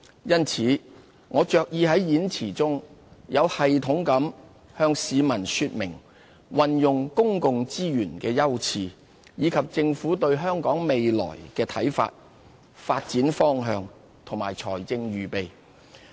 因此，我着意在演辭中有系統地向市民說明運用公共資源的優次，以及政府對香港未來的看法、發展方向和財政預備。